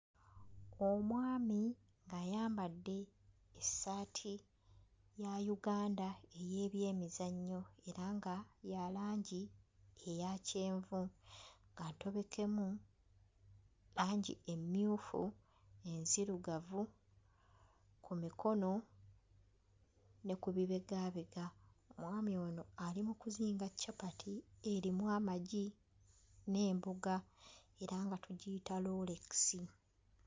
Omwami ayambadde essaati ya Uganda ey'ebyemizannyo era nga ya langi eya kyenvu nga ntobekemu langi emmyufu, enzirugavu ku mikono ne ku bibegaabega, omwami ono ali mu kuzinga capati erimu amagi n'emboga era nga tugiyita loolekisi.